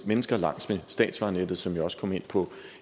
mennesker langs med statsvejnettet som jeg også kom ind på